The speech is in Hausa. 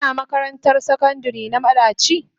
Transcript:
Kina makarantar sakandire na madaci?